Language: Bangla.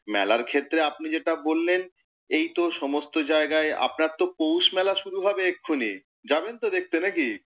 মেলার ক্ষেত্রে আপনি যেটা বললেন এই তো সমস্ত জায়গায়, আপনার তো পৌষ মেলা শুরু হবে এক্ষনি, যাবেন তো দেখতে নাকি?